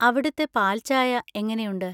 അവിടുത്തെ പാൽചായ എങ്ങനെയുണ്ട്?